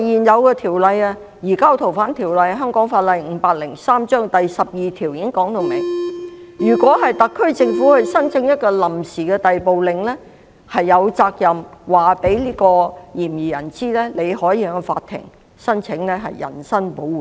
再者，現行《逃犯條例》第12條已訂明，特區政府申請一項拘押令時，有責任告知嫌疑人他有權向法庭申請人身保護令。